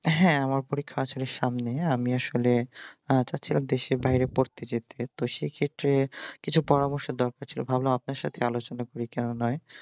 হ্যাঁ আমার পরীক্ষা আসলে সামনেই আমি আসলে আমার ইচ্ছা ছিল দেশের বাইরে পড়তে যেতে তো সেক্ষেত্রে কিছু পরামর্শের দরকার ছিল ভাবলাম আপনার সাথে আলোচনা করি কেন নয়